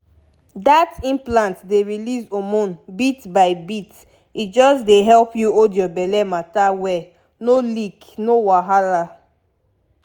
that implant dey release hormone bit by bit e just dey help you hold your belle matter well no leak no wahala.